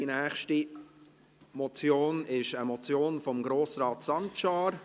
Die nächste Motion ist eine Motion von Grossrat Sancar.